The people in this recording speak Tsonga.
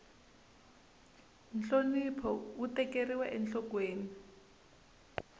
nhlonipho wu tekeriwa enhlokweni